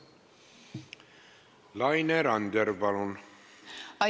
Laine Randjärv, palun!